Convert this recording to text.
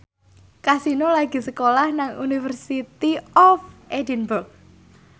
Kasino lagi sekolah nang University of Edinburgh